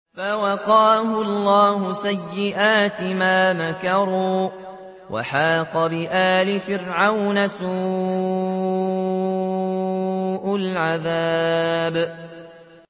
فَوَقَاهُ اللَّهُ سَيِّئَاتِ مَا مَكَرُوا ۖ وَحَاقَ بِآلِ فِرْعَوْنَ سُوءُ الْعَذَابِ